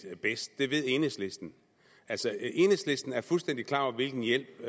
bedst det ved enhedslisten altså enhedslisten er fuldstændig klar over hvilken hjælp